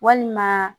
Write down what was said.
Walima